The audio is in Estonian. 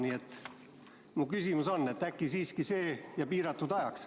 Nii et mu küsimus on, et äkki siiski see ja piiratud ajaks.